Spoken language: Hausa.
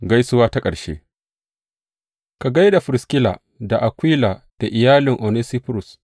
Gaisuwa ta ƙarshe Ka gai da Firiskila da Akwila da iyalin Onesiforus.